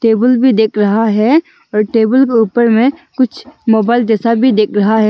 Table भी दिख रहा है और टेबल के ऊपर में कुछ मोबाइल जैसा भी दिख रहा है।